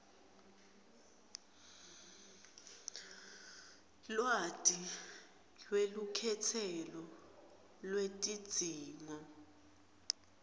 lwati lwelukhetselo lwetidzingo